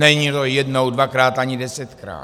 Není to jednou, dvakrát ani desetkrát.